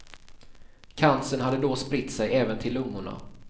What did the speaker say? Cancern hade då spritt sig även till lungorna.